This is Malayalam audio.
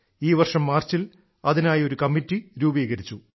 ഈ വർഷം മാർച്ചിൽ അതിനായി ഒരു കമ്മറ്റി രൂപീകരിച്ചു